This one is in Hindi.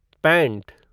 पैंट